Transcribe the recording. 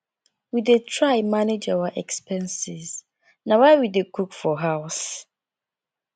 we dey try manage our expenses na why we dey cook for house